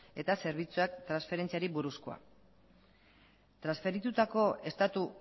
eta zerbitzuak transferentziari buruzkoa transferitutako estatu